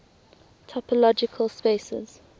topological spaces